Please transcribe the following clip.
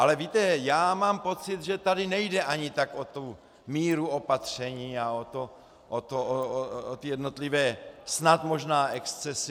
Ale víte, já mám pocit, že tady nejde ani tak o tu míru opatření a o ty jednotlivé snad možná excesy.